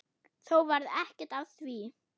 Þó varð ekkert af því.